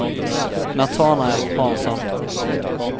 Natanael Hansson